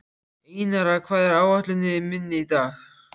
Einara, hvað er á áætluninni minni í dag?